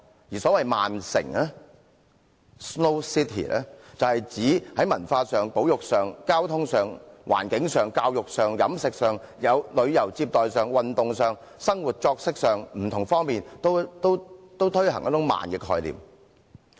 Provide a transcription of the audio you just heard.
而所謂"慢城"，是指在文化、保育、交通、環境、教育、飲食、旅遊接待、運動、生活作息等不同方面均推行一種慢的概念。